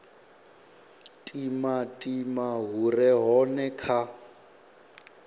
timatima hu re hone kha